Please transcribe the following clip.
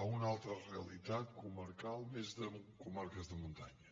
a una altra realitat comarcal més de comarques de muntanya